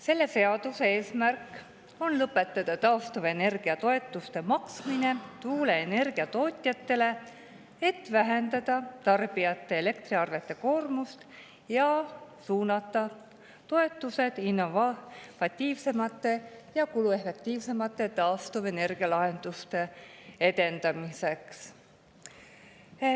Selle seaduse eesmärk on lõpetada taastuvenergia toetuste maksmine tuuleenergia tootjatele, et vähendada elektriarvetest koormust tarbijatele ja suunata toetused innovatiivsemate ja kuluefektiivsemate taastuvenergia lahenduste edendamiseks.